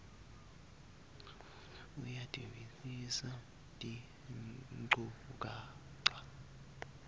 futsi uyativisisa tinchukaca